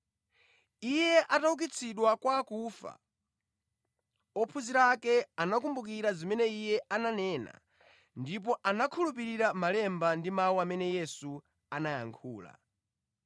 Iye ataukitsidwa kwa akufa, ophunzira ake anakumbukira zimene Iye ananena ndipo anakhulupirira Malemba ndi mawu amene Yesu anayankhula.